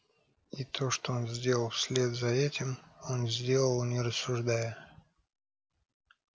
и то что он сделал вслед за этим он сделал не рассуждая